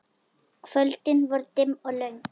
Kvöldin voru dimm og löng.